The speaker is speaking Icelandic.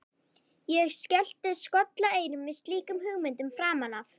Ég skellti skollaeyrum við slíkum hugmyndum framan af.